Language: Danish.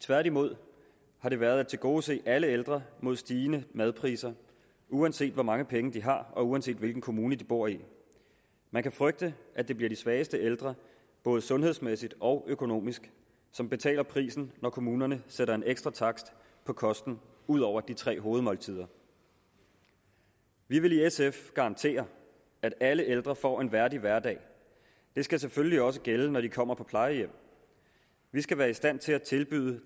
tværtimod har det været at tilgodese alle ældre mod stigende madpriser uanset hvor mange penge de har og uanset hvilken kommune de bor i man kan frygte at det bliver de svageste ældre både sundhedsmæssigt og økonomisk som betaler prisen når kommunerne sætter en ekstra takst på kosten ud over de tre hovedmåltider vi vil i sf garantere at alle ældre får en værdig hverdag det skal selvfølgelig også gælde når de kommer på plejehjem vi skal være i stand til at tilbyde